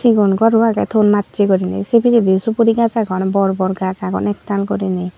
sigon goro age ton macche gurine sei pijedi suguri gaaj agon bor bor gaaj agon ektal gurine.